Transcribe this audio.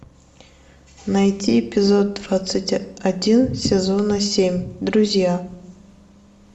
найти эпизод двадцать один сезона семь друзья